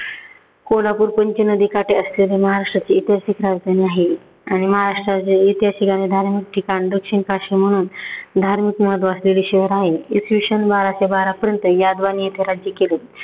कोल्हापूर पंचनदी काठी असलेले महाराष्ट्राची ऐत्याहासिक राजधानी आहे. आणि महाराष्ट्रातील ऐत्याहासिक आणि धार्मिक ठिकाण दक्षिण काशी म्हणून धार्मिक महत्त्व असलेले शहर आहे. इसवी सन बाराशे बारापर्यंत यादवांनी इथे राज्य केले.